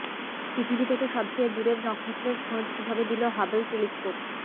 পৃথিবী থেকে সবচেয়ে দূরের নক্ষত্রের খোঁজ কীভাবে দিল হাবল টেলিস্কোপ